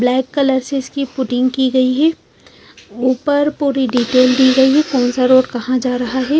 Black colour से इसकी footing कि गयी हैं ऊपर पूरी डिटेल दी गयी हैं कोनसा रोड कहा जा रहा हैं।